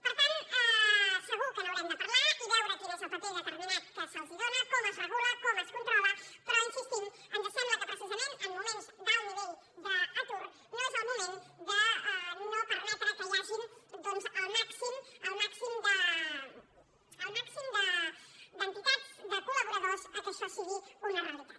per tant segur que n’haurem de parlar i veure quin és el paper determinat que se’ls dóna com es regula com es controla però hi insistim ens sembla que precisament en moments d’alt nivell d’atur no és el moment de no permetre que hi hagin doncs el màxim d’entitats de col·laboradors perquè això sigui una realitat